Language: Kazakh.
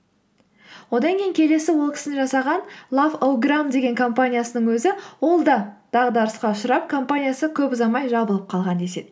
одан кейін келесі ол кісінің жасаған лаф о грам деген компаниясының өзі ол да дағдарысқа ұшырап компаниясы көп ұзамай жабылып қалған деседі